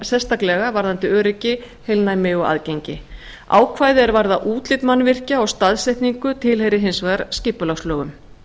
sérstaklega varðandi öryggi heilnæmi og aðgengi ákvæði er varða útlit mannvirkja og staðsetningu tilheyra hins vegar skipulagslögum